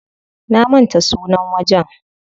Na manta sunan wajen.